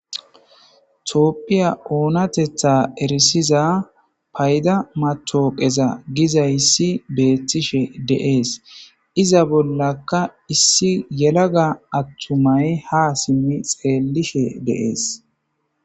toopphiya oonatetha erisiza payda matooqeza giza issi beettishe deees iza bollaka issi yelaga attumay ha simmi xeellishe deees